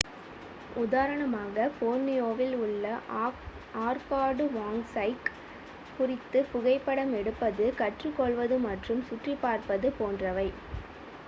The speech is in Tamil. உதாரணமாக போர்னியோவில் உள்ள ஆர்கான்டுவாங்ஸைக் குறித்து புகைப்படம் எடுப்பது கற்றுக்கொள்வது மற்றும் சுற்றிப்பார்ப்பது போன்றவை